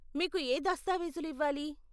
మీకు ఏ దస్తావీజులు ఇవ్వాలి?